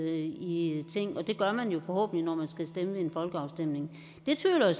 i ting og det gør man jo forhåbentlig når man skal stemme ved en folkeafstemning det tvivler jeg